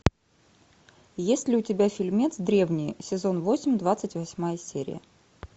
есть ли у тебя фильмец древние сезон восемь двадцать восьмая серия